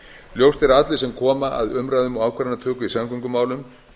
ljóst er að allir sem koma að umræðum og ákvörðunartöku í samgöngumálum